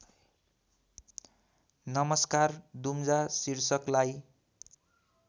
नमस्कार दुम्जा शीर्षकलाई